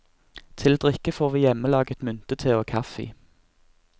Til drikke får vi hjemmelaget myntete og kaffe.